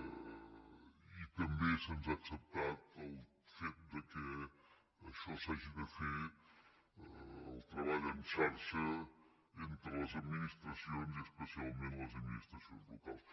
i també se’ns ha acceptat el fet que això s’hagi de fer el treball en xarxa entre les administracions i especialment les administracions locals